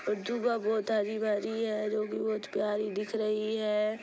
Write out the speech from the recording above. और दुभा बहुत हरी भरी है जो की बहुत प्यारी दिख रही है